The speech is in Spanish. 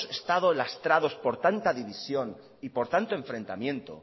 estado lastrados por tanta división y por tanto enfrentamiento